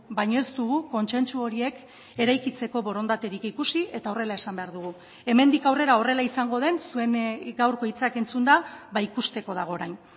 baina ez dugu kontsentsu horiek eraikitzeko borondaterik ikusi eta horrela esan behar dugu hemendik aurrera horrela izango den zuen gaurko hitzak entzunda ikusteko dago orain